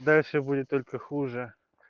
дальше будет только хуже